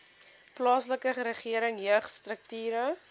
plaaslike regering jeugstrukture